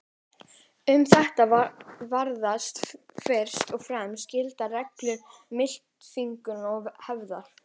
Um þetta virðast fyrst og fremst gilda reglur máltilfinningar og hefðar.